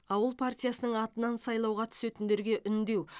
ауыл партиясының атынан сайлауға түсетіндерге үндеу